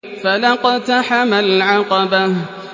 فَلَا اقْتَحَمَ الْعَقَبَةَ